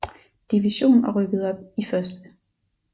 Division og rykkede op i 1